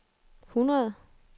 hundrede